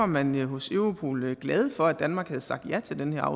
man hos europol var glade for at danmark havde sagt ja til den her